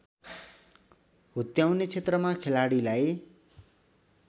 हुत्याउने क्षेत्रमा खेलाडीलाई